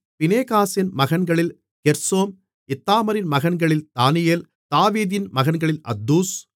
பினெகாசின் மகன்களில் கெர்சோம் இத்தாமாரின் மகன்களில் தானியேல் தாவீதின் மகன்களில் அத்தூஸ்